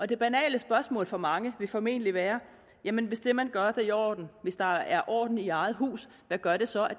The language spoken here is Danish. det banale spørgsmål for mange vil formentlig være jamen hvis det man gør er i orden hvis der er orden i eget hus hvad gør det så at